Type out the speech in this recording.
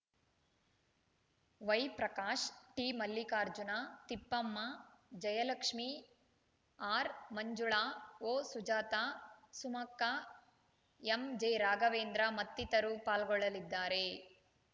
ವೈಪ್ರಕಾಶ್‌ ಟಿಮಲ್ಲಿಕಾರ್ಜುನ ತಿಪ್ಪಮ್ಮ ಜಯಲಕ್ಷ್ಮೇ ಆರ್‌ಮಂಜುಳಾ ಒಸುಜಾತ ಸುಮಕ್ಕ ಎಂಜೆರಾಘವೇಂದ್ರ ಮತ್ತಿತರರು ಪಾಲ್ಗೊಳ್ಳಲಿದ್ದಾರೆ